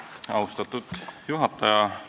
Austatud juhataja!